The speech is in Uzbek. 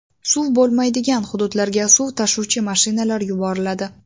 Suv bo‘lmaydigan hududlarga suv tashuvchi mashinalar yuboriladi.